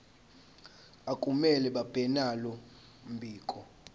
akumele babenalo mbiko